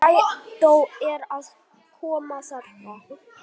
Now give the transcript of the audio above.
Strætó er að koma þarna!